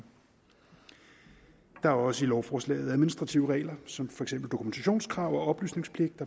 der er også i lovforslaget administrative regler som for eksempel dokumentationskrav og oplysningspligt